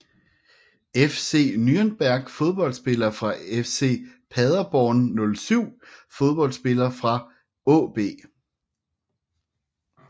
FC Nürnberg Fodboldspillere fra SC Paderborn 07 Fodboldspillere fra AaB